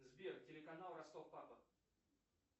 сбер телеканал ростов папа